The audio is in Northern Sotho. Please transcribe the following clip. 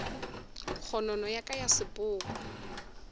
kgonono ya ka ya sepoko